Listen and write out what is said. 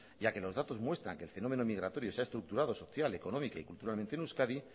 ya que los datos muestran que el fenómeno migratorio se ha estructurado social económica y culturalmente en euskadi